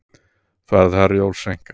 Ferð Herjólfs seinkar